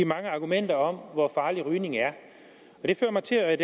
mange argumenter om hvor farlig rygning er det får mig til